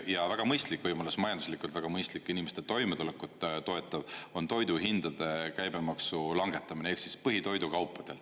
Ja väga mõistlik võimalus, majanduslikult väga mõistlik inimeste toimetulekut toetav on toiduhindade käibemaksu langetamine ehk siis põhitoidukaupadel.